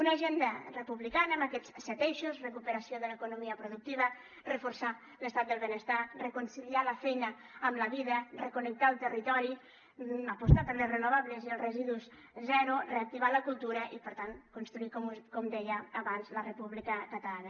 una agenda republicana amb aquests set eixos recuperació de l’economia productiva reforçar l’estat del benestar reconciliar la feina amb la vida reconnectar el territori apostar per les renovables i els residus zero reactivar la cultura i per tant construir com deia abans la república catalana